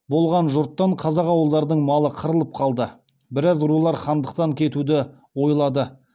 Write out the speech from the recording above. болған жұттан қазақ ауылдарының малы қырылып қалды біраз рулар хандықтан кетуді ойлады